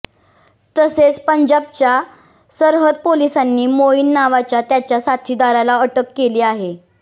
तसेच पंजाबच्या सरहद पोलीसांनी मोईन नावाच्या त्याच्या साथीदाराला अटक केली आहे